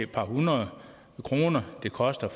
par hundrede kroner det koster